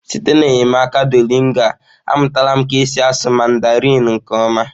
Site n'enyemaka Duolingo a, amụtala m ka esi asụ mandarịn nke ọma.